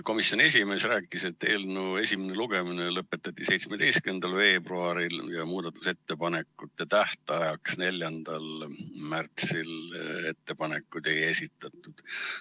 Komisjoni esimees rääkis, et eelnõu esimene lugemine lõpetati 17. veebruaril ja muudatusettepanekute tähtajaks, 4. märtsiks ettepanekuid ei esitatud.